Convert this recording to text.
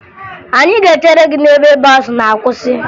Anyị ga-echere gị n'ebe bọọsụ na-akwụsa